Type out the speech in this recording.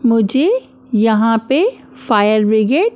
मुझे यहाँ पे फायर ब्रिगेड --